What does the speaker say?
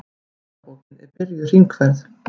Gestabókin er byrjuð hringferð.